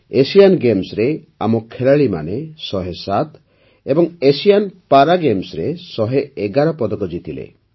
Asian ଗେମ୍ସରେ ଆମ ଖେଳାଳୀମାନେ ୧୦୭ ଏବଂ ଏସିଆନ୍ ପାରାଗେମ୍ସରେ ୧୧୧ ପଦକ ଜିତିଲେ